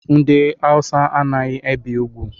Ndị awusa anaghị ebi úgwú.